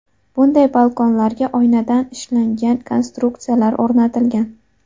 Bunday balkonlarga oynadan ishlangan konstruksiyalar o‘rnatilgan.